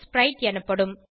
ஸ்பிரைட் எனப்படும்